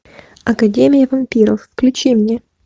академия вампиров включи мне